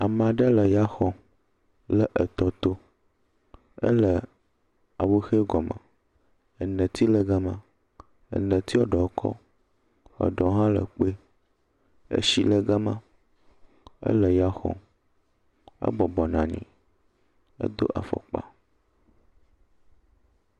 Ame aɖe le ya xɔm le etɔ to ele awu he gɔmɔ, eneti le gama, eneti ɖewo kɔ eɖewo hã le kpui, etsi le gama, ele ya xɔm, ebɔbɔ nɔ anyi, edo afɔkpa.